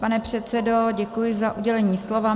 Pane předsedo, děkuji za udělení slova.